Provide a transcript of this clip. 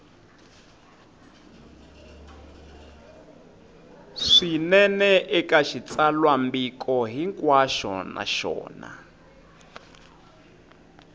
swinene eka xitsalwambiko hinkwaxo naswona